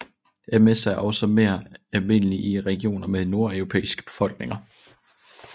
MS er også mere almindelig i regioner med nordeuropæiske befolkninger